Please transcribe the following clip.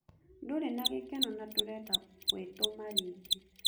Ndũrĩ na gĩkeno na ndũrenda gũĩtũma rĩngĩ